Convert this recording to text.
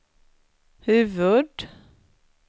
huvud